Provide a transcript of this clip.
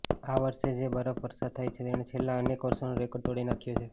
આ વર્ષે જે બરફ વર્ષા થઇ તેણે છેલ્લા અનેક વર્ષોનો રેકોર્ડ તોડી નાખ્યો છે